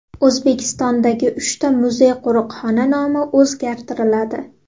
O‘zbekistondagi uchta muzey-qo‘riqxona nomi o‘zgartiriladi.